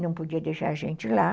não podia deixar a gente lá.